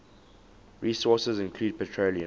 resources include petroleum